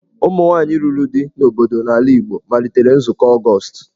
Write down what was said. Ụmụ nwaanyị lụrụ di n'obodo n'ala Igbo malitere Nzukọ Ọgọst.